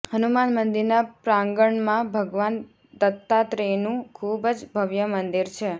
હનુમાન મંદિરનાં પ્રાંગણમાં ભગવાન દત્તાત્રેયનું ખૂબ જ ભવ્ય મંદિર છે